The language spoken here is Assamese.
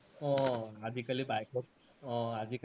অ আজিকালি bike ত, অ আজিকালি